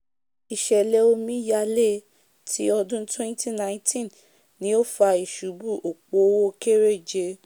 ìsẹ̀lẹ̀ omí yalé ti ọdún twenty nineteen ni o fa ìsubú òpo òwò kéréje